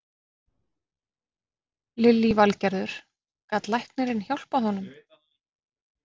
Lillý Valgerður: Gat læknirinn hjálpað honum?